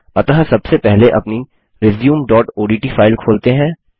अतः सबसे पहले अपनी resumeओडीटी फाइल खोलते हैं